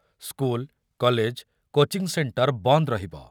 School, college, coaching centre ବନ୍ଦ ରହିବ।